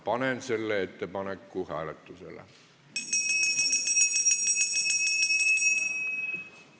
Panen selle ettepaneku hääletusele.